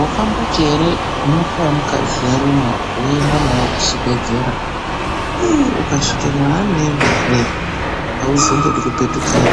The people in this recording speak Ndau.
Wakamboti ere nyoka yemukadzi yaruma woende naye kuchibhedhlera. Ukasvika mwaanoenda eree, auzombodi kupetukeyo